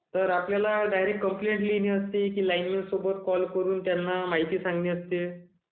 तर आपल्याला direct complaint द्यायची असते..की लाइन मॅन सोबत कॉल करून माहिती द्यायची असते.